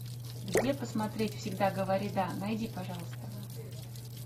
где посмотреть всегда говори да найди пожалуйста